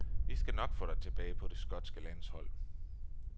Vi skal nok få dig tilbage på det skotske landshold.